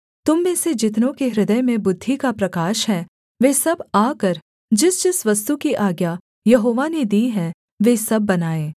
तुम में से जितनों के हृदय में बुद्धि का प्रकाश है वे सब आकर जिसजिस वस्तु की आज्ञा यहोवा ने दी है वे सब बनाएँ